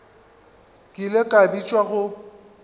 ke ile ka bitšwa go